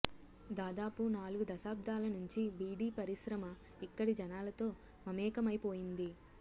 దాదాపు నాలుగు దశాబ్దాల నుంచి బీడీ పరిశ్రమ ఇక్కడి జనాలతో మమేకమైపోయింది